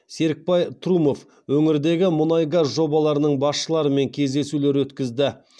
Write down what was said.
серікбай трумов өңірдегі мұнай газ жобаларының басшыларымен кездесулер өткізді